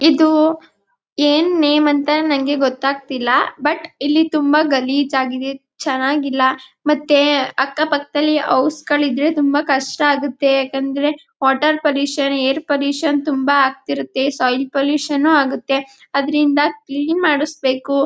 ಇದು ಏನ್ ನೇಮ್ ಅಂತ ನನಗೆ ಗೊತ್ತಾಗುತ್ತಿಲ್ಲ ಬಟ್ ಇಲ್ಲಿ ತುಂಬಾ ಗಲೀಜ್ ಆಗಿದೆ ಚೆನ್ನಾಗಿಲ್ಲ ಮತ್ತೆ ಅಕ್ಕಪಕ್ಕದಲ್ಲಿ ಹೌಸ್ ಗಳಿದ್ರೆ ತುಂಬಾ ಕಷ್ಟ ಆಗುತ್ತೆ ಏಕೆಂದರೆ ವಾಟರ್ ಪೊಲ್ಲ್ಯೂಷನ್ ಏರ್ ಪೊಲ್ಲ್ಯೂಷನ್ ತುಂಬ ಆಗ್ತಿರುತ್ತೆ ಸಾಯಿಲ್ ಪೊಲ್ಲ್ಯೂಷನ್ ಆಗತಿರುತ್ತೆ ಅದರಿಂದ ಕ್ಲೀನಿಂಗ್ ಮಾಡಿಸ್ಬೇಕು.